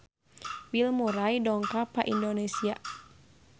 Bill Murray dongkap ka Indonesia